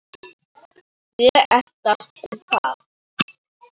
Ég efast um það.